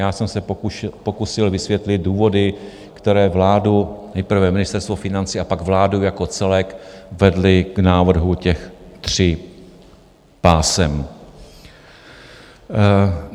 Já jsem se pokusil vysvětlit důvody, které vládu, nejprve Ministerstvo financí a pak vládu jako celek vedly k návrhu těch tří pásem.